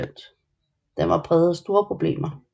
Den var præget af store problemer